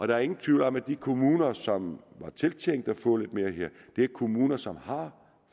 der er ingen tvivl om at de kommuner som var tiltænkt at få lidt mere her er kommuner som har